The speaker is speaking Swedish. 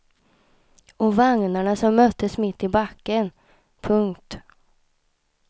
Och vagnarna som möttes mitt i backen. punkt